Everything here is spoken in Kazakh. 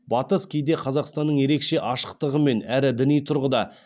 батыс кейде қазақстанның ерекше ашықтығымен әрі діни тұрғыда